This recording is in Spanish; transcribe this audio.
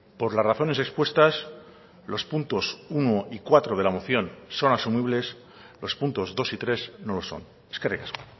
por las razones expuestas los puntos uno y cuatro de la moción son asumibles los puntos dos y tres no los son eskerrik asko